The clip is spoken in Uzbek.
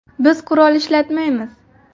Biz qurol ishlatmaymiz.